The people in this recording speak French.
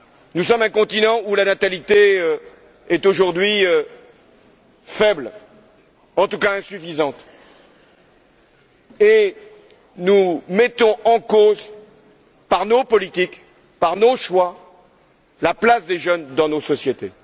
Nous sommes un continent où la natalité est aujourd'hui faible, en tout cas, insuffisante. Nous mettons en cause, par nos politiques, par nos choix, la place des jeunes dans nos sociétés.